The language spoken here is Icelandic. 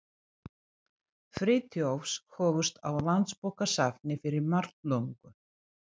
Friðþjófs hófust á Landsbókasafni fyrir margt löngu.